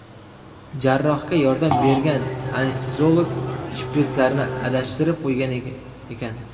Jarrohga yordam bergan anesteziolog shprislarni adashtirib qo‘ygan ekan.